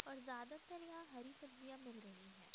और ज्यादातर यहां हरी सब्जियां मिल रही है।